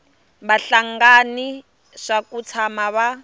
vahlengani swa ku tshama va